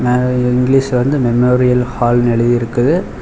அ இங்கிலீஷ்ல வந்து மெமோரியல் ஹால்னு எழுதி இருக்குது.